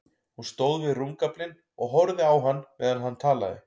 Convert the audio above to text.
Hún stóð við rúmgaflinn og horfði á hann meðan hann talaði.